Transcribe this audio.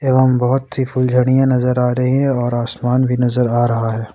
एवं बहुत सी फुलझरिया नजर आ रही है और आसमान भी नजर आ रहा है।